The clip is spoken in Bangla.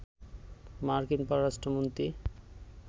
মার্কিন পররাষ্ট্র মন্ত্রী